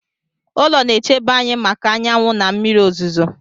Ụlọ na-echebe anyị maka anyanwụ na mmiri ozuzo.